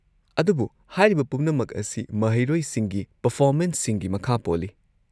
ꯑꯗꯨꯕꯨ ꯍꯥꯏꯔꯤꯕ ꯄꯨꯝꯅꯃꯛ ꯑꯁꯤ ꯃꯍꯩꯔꯣꯏꯁꯤꯡꯒꯤ ꯄꯔꯐꯣꯃꯦꯟꯁꯁꯤꯡꯒꯤ ꯃꯈꯥ ꯄꯣꯜꯂꯤ꯫